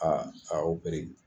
Aa a